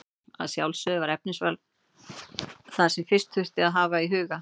Að sjálfsögðu var efnisval það sem fyrst þurfti að hafa í huga.